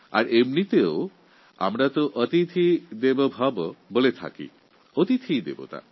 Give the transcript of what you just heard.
আর এমনিতেই আমাদের কাছে অতিথি দেবতুল্য